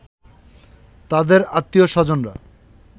তাদের আত্নীয়-স্বজনরা